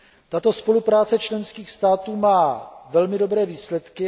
Tato spolupráce členských států má velmi dobré výsledky.